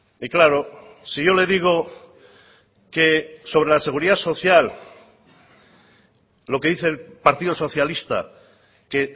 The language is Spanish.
y claro si yo le digo que sobre la seguridad social lo que dice el partido socialista que